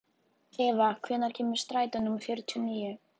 Eva, hvenær kemur strætó númer fjörutíu og níu?